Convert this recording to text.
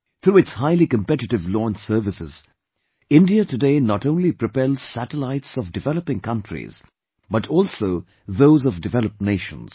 Through its highly competitive launch services, India today not only propels satellites of developing countries but also those of developed nations